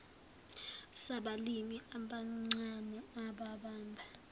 sabalimi abancane ababamba